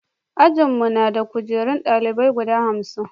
ajin mu na da kujeru na dalibai guda hamsin